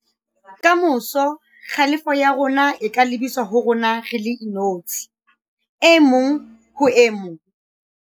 Ka moso, kgalefo ya rona e ka lebiswa ho rona re le inotshi - e mong ho e mong